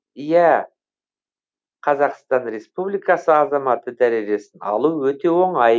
иә қазақстан республикасы азаматы дәрежесін алу өте оңай